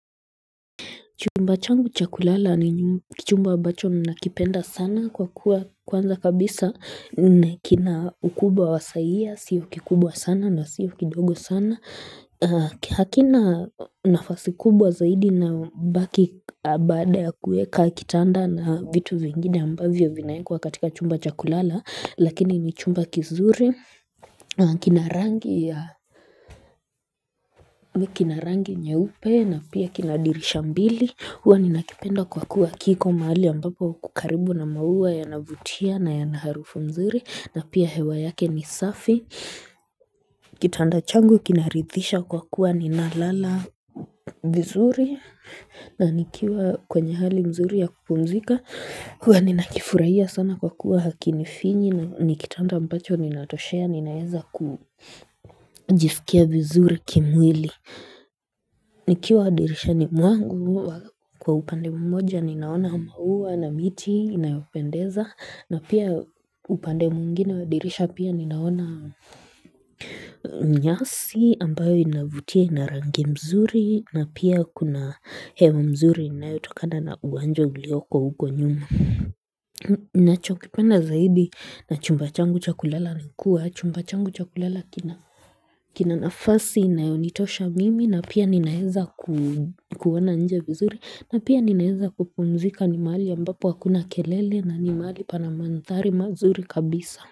Chumba changu chakulala ni kichumba ambacho nakipenda sana kwa kuwa kwanza kabisa kina ukubwa wa sayia, sio kikubwa sana na sio kidogo sana. Hakina nafasi kubwa zaidi na mbaki baada ya kuweka kitanda na vitu vingine ambavyo vinaekwa katika chumba cha kulala. Lakini ni chumba kizuri, kina rangi nyeupe na pia kina dirisha mbili huwa ninakipenda kwa kuwa kiko mahali ambapo kuko karibu na maua yanavutia na yana harufu mzuri na pia hewa yake ni safi Kitanda changu kinaridhisha kwa kuwa ninalala mzuri na nikiwa kwenye hali mzuri ya kupumzika huwa ninakifurahia sana kwa kuwa hakinifinyi na ni kitanda ambacho ninatoshea ninaweza kujiskia vizuri kimwili Nikiwa dirishani mwangu huwa kwa upande mmoja ninaona maua na miti inayopendeza na pia upande mwingine wa dirisha pia ninaona nyasi ambayo inavutia ina rangi mzuri na pia kuna hewa mzuri inayotokana na uwanja ulioko uko nyuma ninacho kipenda zaidi na chumba changu cha kulala ni kuwa chumba changu cha kulala kina nafasi inayonitosha mimi na pia ninaeza kuona nje vizuri na pia ninaeza kupumzika ni mahali ambapo hakuna kelele na mahali pana mandhari mazuri kabisa.